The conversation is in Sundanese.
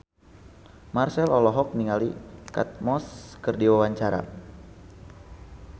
Marchell olohok ningali Kate Moss keur diwawancara